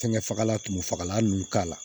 Fɛngɛ fagalan tumu fagalan ninnu k'a la